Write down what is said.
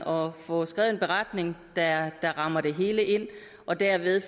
og få skrevet en beretning der rammer det hele ind og derved